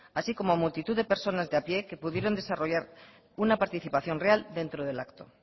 así como multitud de personas de a pie que pudieron desarrollar una participación real dentro del acto